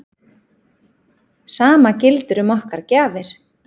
Sama gildir um okkar gjafir.